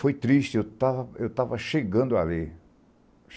Foi triste, eu estava chegando ali.